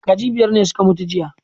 Kaji biyar ne suka mutu jiya